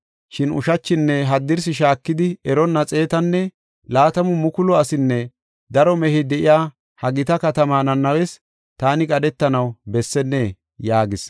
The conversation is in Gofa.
Shin ushachinne haddirsi shaakidi eronna xeetanne laatamu mukulu asinne daro mehey de7iya ha gita katamaa Nanawes taani qadhetanaw bessennee?” yaagis.